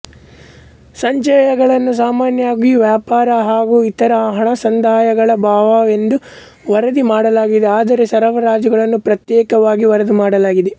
ಸಂಚಯಗಳನ್ನು ಸಾಮಾನ್ಯವಾಗಿ ವ್ಯಾಪಾರ ಹಾಗು ಇತರ ಹಣಸಂದಾಯಗಳ ಭಾಗವೆಂದು ವರದಿ ಮಾಡಲಾಗಿದೆ ಆದರೆ ಸರಬರಾಜುಗಳನ್ನು ಪ್ರತ್ಯೇಕವಾಗಿ ವರದಿ ಮಾಡಲಾಗಿದೆ